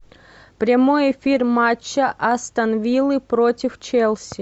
прямой эфир матча астон вилла против челси